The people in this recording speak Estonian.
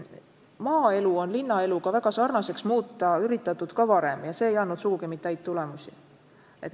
Maaelu on linnaeluga väga sarnaseks muuta üritatud ka varem ja see ei ole andnud sugugi mitte häid tulemusi.